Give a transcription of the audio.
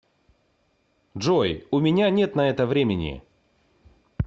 джой у меня нет на это времени